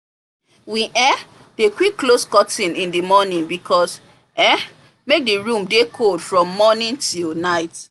we um dey quick close curtain in the mornaing because um make the room dey cool from morning till night